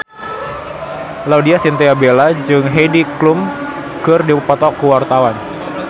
Laudya Chintya Bella jeung Heidi Klum keur dipoto ku wartawan